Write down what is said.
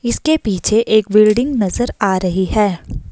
इसके पीछे एक बिल्डिंग नजर आ रही है।